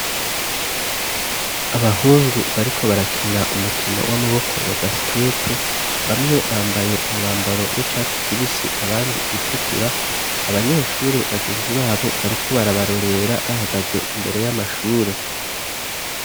Abahungu bariko barakina umukino w'amaboko wa basikete bamwe bambaye umwambaro w'icatsi kibisi abandi utukura abanyeshuri bagenzi babo bariko barabarorera bahagaze imbere y'amashure.